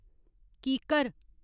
कीकर